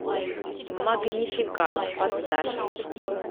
магнификат поставь